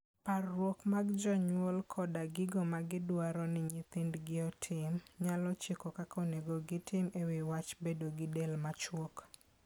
Parruok mag jonyuol koda gigo ma gidwaro ni nyithindgi otim, nyalo chiko kaka onego gitim e wi wach bedo gi del machuok.